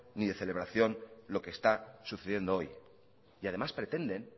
ni de celebración lo que está sucediendo hoy y además pretenden